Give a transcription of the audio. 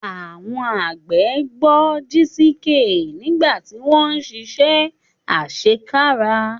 Àwọn àgbẹ̀ gbọ́ Jisike nígbà tí wọ́n ń ṣiṣẹ́ àṣekára.